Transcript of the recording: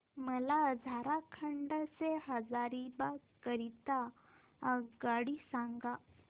मला झारखंड से हजारीबाग करीता आगगाडी सांगा